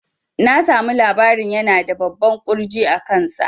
Na samu labarin yana da babban ƙurji a kan sa